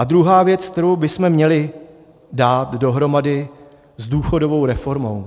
A druhá věc, kterou bychom měli dát dohromady s důchodovou reformou.